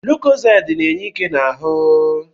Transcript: Lukozedi na-enye ike n'ahụ